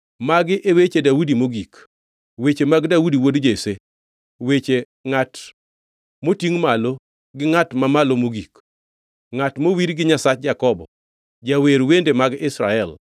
Magi e weche Daudi mogik: Weche mag Daudi wuod Jesse, weche ngʼat motingʼ malo gi Ngʼat Mamalo Mogik, ngʼat mowir gi Nyasach Jakobo, jawer wende mag Israel.